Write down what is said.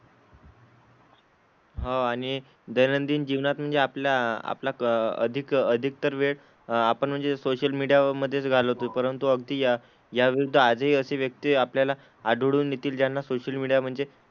हो आणि दैनंदिन जीवनात म्हणजे आपल्या आपला क अधिक अधिकतर वेळ अह आपण म्हणजे सोशल मीडियामधेच घालवतोय. परंतु अगदी या याविरुद्ध आधी अशी व्यक्ती आपल्याला आढळून येतील ज्यांना सोशल मीडिया म्हणजे,